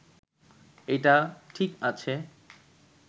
এটা ঠিক আছে